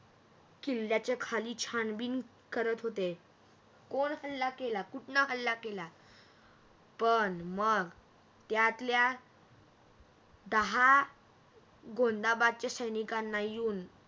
किल्ल्याच्या खाली छाणबिन करत होते कोण हल्ला केला कुठणं हल्ला केला पण मग त्यातल्या दहा गोंदाबादच्या सैनिकांना येऊन